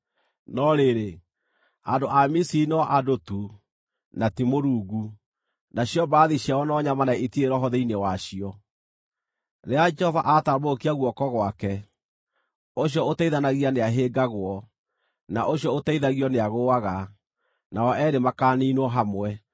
No rĩrĩ, andũ a Misiri no andũ tu, na ti Mũrungu; nacio mbarathi ciao no nyama na itirĩ roho thĩinĩ wacio. Rĩrĩa Jehova aatambũrũkia guoko gwake, ũcio ũteithanagia nĩahĩngagwo, na ũcio ũteithagio nĩagũũaga; nao eerĩ makaaniinwo hamwe.